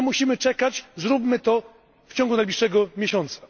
Nie musimy czekać, zróbmy to w ciągu najbliższego miesiąca.